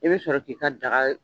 I bɛ sɔrɔ k'i ka daga.